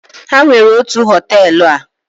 ha nwere otu hoteelu a